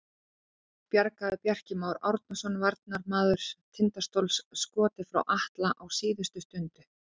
Þá bjargaði Bjarki Már Árnason varnarmaður Tindastóls skoti frá Atla á síðustu stundu.